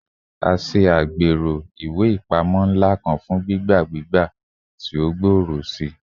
A ṣe agbero iwe ipamọ nla kan fun gbigba gbigba gbigba ti o gbooro sii